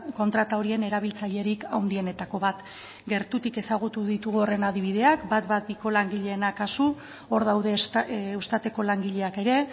kontrata horien erabiltzailerik handienetako bat gertutik ezagutu ditugu horren adibideak ehun eta hamabiko langileena kasu hor daude eustateko langileak ere